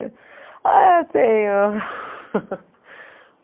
Ah, tenho.